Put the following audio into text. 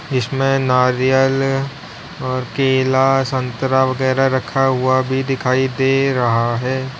जिसमे नारियल और केला संतरा वगैरह रखा हुआ भी दिखाई दे रहा है।